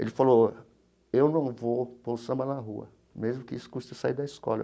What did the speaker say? Ele falou, eu não vou pôr o samba na rua, mesmo que isso custe sair da escola.